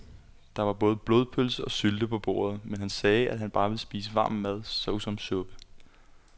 Der var både blodpølse og sylte på bordet, men han sagde, at han bare ville spise varm mad såsom suppe.